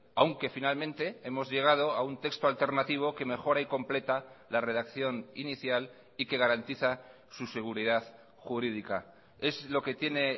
aunque finalmente hemos llegado a un texto alternativo que mejora y completa la redacción inicial y que garantiza su seguridad jurídica es lo que tiene